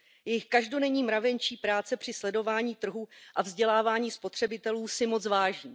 Jejich každodenní mravenčí práce při sledování trhu a vzdělávání spotřebitelů si moc vážím.